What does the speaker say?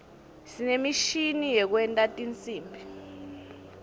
sinemishini yekwenta tinsimbi